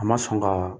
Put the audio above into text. A ma sɔn ka